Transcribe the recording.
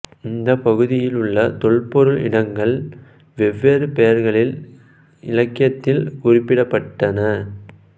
இந்த பகுதியில் உள்ள தொல்பொருள் இடங்கள் வெவ்வேறு பெயர்களில் இலக்கியத்தில் குறிப்பிடப்பட்டன